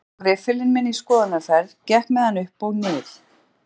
Ég tók riffilinn minn í skoðunarferð, gekk með hann upp og nið